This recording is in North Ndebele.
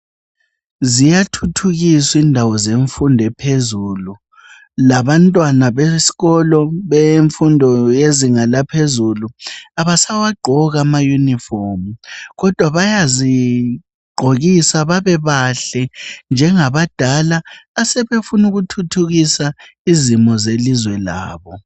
Ziyathuthukiswa indawo zemfundo ephezulu labantwana besikolo bemfundo yezinga laphezulu abasawagqoki ama uniform kodwa bayizigqokisa bebebahle njengabadala asebefuna ukuthuthukisa izimo zelizwe labo